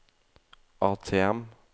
ATM